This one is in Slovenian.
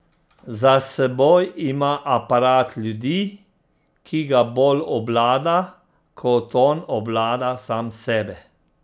Za seboj ima aparat ljudi, ki ga bolj obvlada, kot on obvlada sam sebe.